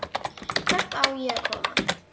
Hvert á ég að koma?